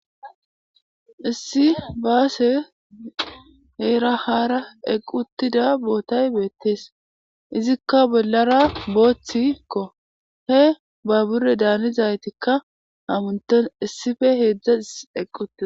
Issi baase heerahara equttida bootay beettees izikka bollara booththikko he ba bure daanizaytikka hamunton issife heedzdza eqqutida.